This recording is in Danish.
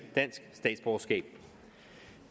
dansk statsborgerskab